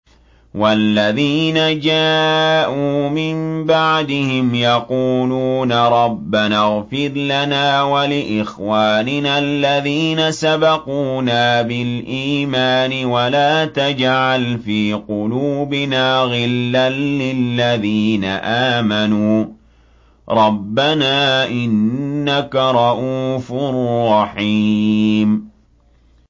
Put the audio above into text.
وَالَّذِينَ جَاءُوا مِن بَعْدِهِمْ يَقُولُونَ رَبَّنَا اغْفِرْ لَنَا وَلِإِخْوَانِنَا الَّذِينَ سَبَقُونَا بِالْإِيمَانِ وَلَا تَجْعَلْ فِي قُلُوبِنَا غِلًّا لِّلَّذِينَ آمَنُوا رَبَّنَا إِنَّكَ رَءُوفٌ رَّحِيمٌ